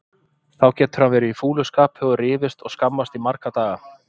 Þá getur hann verið í fúlu skapi og rifist og skammast í marga daga.